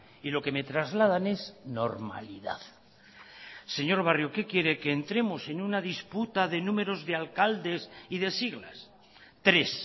y lo que me trasladan es normalidad señor barrio qué quiere que entremos en una disputa de número de alcaldes y de siglas tres